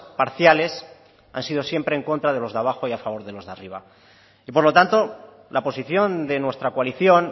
parciales han sido siempre en contra de los de abajo y a favor de los de arriba y por lo tanto la posición de nuestra coalición